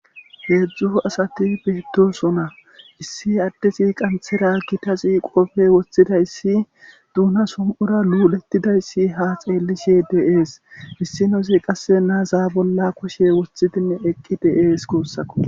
heedzdzu asati beetosona issi addezi qanthera gitazi qopfe woththidayssi duuna som'ura lulettidayssi ha xeellishe dee'es issinosi qasse naazaa bolla koshe woththidinne eqqi dee'es guussako